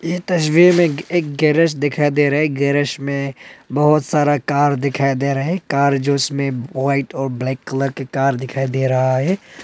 ये तस्वीर में एक गेरेज दिखा दे रहा है गेरेज मे बहोत सारा कार दिखाई दे रहा है कार जिसमें व्हाइट और ब्लैक कलर के कार दिखाई दे रहा है।